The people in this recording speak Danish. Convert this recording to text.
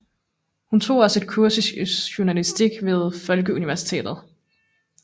Hun tog også et kursus i journalistik ved Folkeuniversitetet